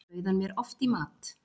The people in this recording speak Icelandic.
Bauð hann mér oft í mat.